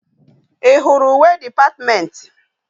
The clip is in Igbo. I huru uwe department?